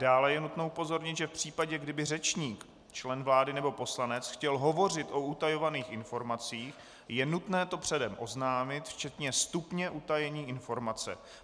Dále je nutno upozornit, že v případě, kdyby řečník, člen vlády nebo poslanec, chtěl hovořit o utajovaných informacích, je nutné to předem oznámit, včetně stupně utajení informace.